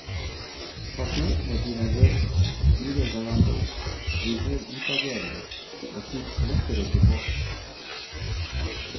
Pasientene blir nervøse, girer hverandre opp, blir mer utagerende og tyr lettere til vold.